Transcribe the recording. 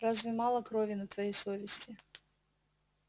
разве мало крови на твоей совести